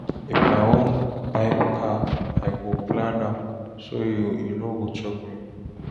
If I wan buy car, I go plan am so e no go choke me.